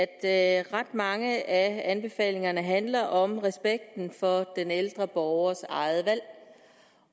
at ret mange af anbefalingerne handler om respekten for den ældre borgers eget valg